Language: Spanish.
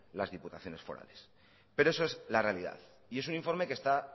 las diputaciones forales pero eso es la realidad y es un informe que está